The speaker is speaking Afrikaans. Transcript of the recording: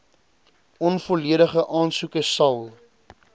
onvolledige aansoeke sal